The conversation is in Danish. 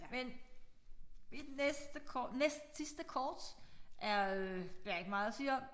Men i den næste næstsidste kort er øh der ikke meget at sige om